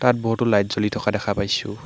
তাত বহুতো লাইট জ্বলি থকা দেখা পাইছোঁ।